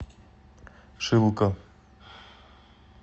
шилка